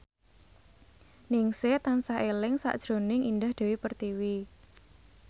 Ningsih tansah eling sakjroning Indah Dewi Pertiwi